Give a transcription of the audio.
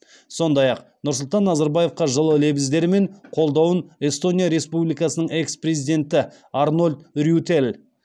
сондай ақ нұрсұлтан назарбаевқа жылы лебіздері мен қолдауын эстония республикасының экс президенті арнольд рюйтель